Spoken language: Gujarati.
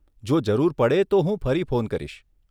જો જરૂર પડે તો હું ફરી ફોન કરીશ.